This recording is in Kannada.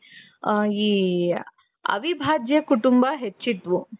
ಅ ಈ ಅವಿಭಾಜ್ಯ ಕುಟುಂಬ ಹೆಚ್ಚಿದ್ವು.